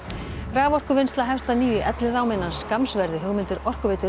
raforkuvinnsla hefst að nýju í Elliðaám innan skamms verði hugmyndir Orkuveitu